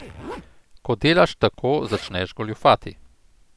Ko delaš tako, začneš goljufati.